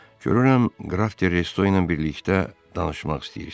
Görürəm qraf Redo ilə birlikdə danışmaq istəyirsiz.